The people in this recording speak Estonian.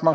Ma väga